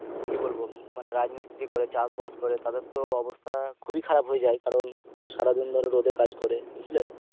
কি বলবো মানে রাজমিস্ত্রী করে চাষবাস করে তাদের তো অবস্থা খুবই খারাব হয়ে যায় কারণ সারাদিন ধরে রোদের কাজ করে বুঝলে